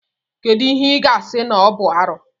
Kedụ ihe ị ga-asị na ọ bụ arụ.